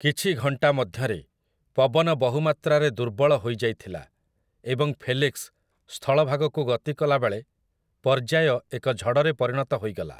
କିଛି ଘଣ୍ଟା ମଧ୍ୟରେ, ପବନ ବହୁ ମାତ୍ରାରେ ଦୁର୍ବଳ ହୋଇଯାଇଥିଲା ଏବଂ ଫେଲିକ୍ସ୍ ସ୍ଥଳଭାଗକୁ ଗତି କଲାବେଳେ ପର୍ଯ୍ୟାୟ ଏକ ଝଡ଼ରେ ପରିଣତ ହୋଇଗଲା ।